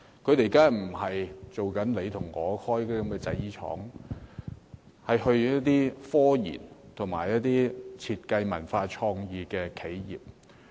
他們不是到我所屬界別的製衣廠實習，是去一些科研、設計、文化創意企業。